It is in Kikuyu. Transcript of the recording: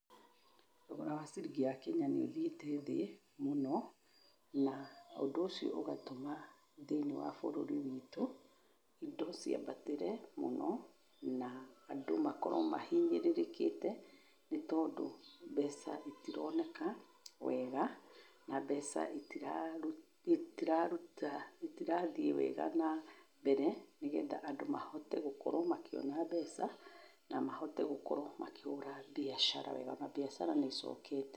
Thogora wa ciringi ya Kenya nĩ ũthiĩte thĩ mũno, na ũndũ ũcio ũgatũma thĩ-inĩ wa bũrũri witũ indo ciambatĩre mũno na andũ makorwo mahinyĩrĩrĩkĩte, nĩ tondũ mbeca itironeka wega na mbeca itiraruta, itirathiĩ wega na mbere, nĩgetha andũ mahote gũkorwo makĩona mbeca na mahote gũkorwo makĩhũra biacara wega, mabiacara nĩ icokete.